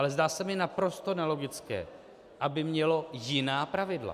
Ale zdá se mi naprosto nelogické, aby mělo jiná pravidla.